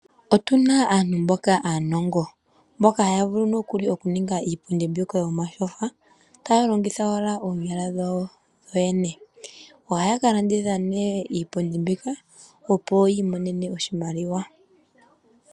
Otu na aantu mboka aanongo, mboka haya vulu nokuli okuninga iipundi mbyoka yomatyofa taya longitha owala oonyala dhawo dhodhene. Ohaya ka landitha ne iipundi mbika opo yiimonene oshimaliwa.